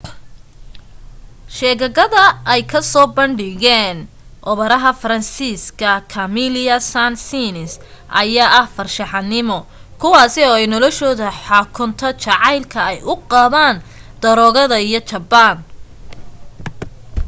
sheegakada ay kusoo bandhigeen operaha faransiiska camille saind-saens ayaa ah farshaxanimo kuwaasi oo ay noloshoda xukunto jacaylka ay u qabaan daroogada iyo jabaan